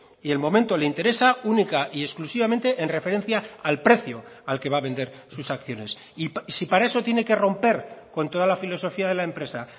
y el momento le interesa única y exclusivamente en referencia al precio al que va a vender sus acciones y si para eso tiene que romper con toda la filosofía de la empresa